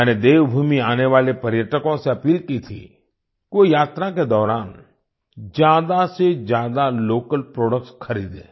मैंने देवभूमि आने वाले पर्यटकों से अपील की थी कि वो यात्रा के दौरान ज्यादा से ज्यादा लोकल प्रोडक्ट्स खरीदें